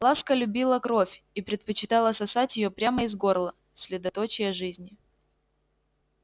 ласка любила кровь и предпочитала сосать её прямо из горла средоточия жизни